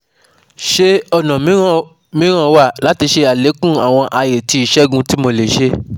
Ṣe ọna miiran miiran wa lati ṣe alekun awọn aye ti isẹgun ti Mo le ṣe